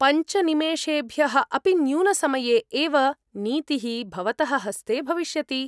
पञ्च निमेषेभ्यः अपि न्यूनसमये एव नीतिः भवतः हस्ते भविष्यति।